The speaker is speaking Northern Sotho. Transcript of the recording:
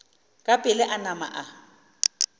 ka pela a nama a